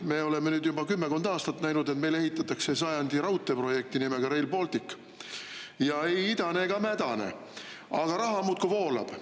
Me oleme nüüd juba kümmekond aastat näinud, et meil ehitatakse sajandi raudteeprojekti nimega Rail Baltic – ja ei idane ega mädane, aga raha muudkui voolab.